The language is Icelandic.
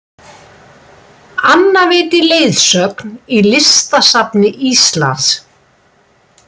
Anna veitir leiðsögn í Listasafni Íslands